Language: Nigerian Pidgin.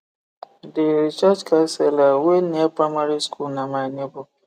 de recharge card seller wey near primary school na my neighbor